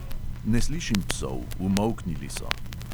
Ne slišim psov, umolknili so.